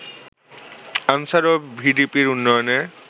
answer ও ভিডিপির উন্নয়নে